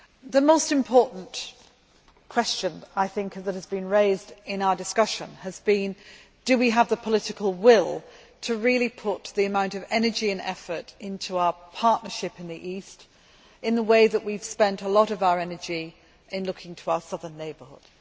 The most important question that I think has been raised in our discussion has been do we have the political will to put the amount of energy and effort into our partnership in the east in the way that we have spent a lot of our energy looking to our southern neighbourhood?